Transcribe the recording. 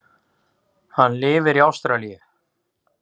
Hann lifir í Ástralíu.